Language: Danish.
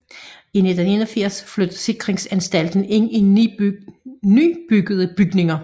I 1981 flyttede Sikringsanstalten ind i nybyggede bygninger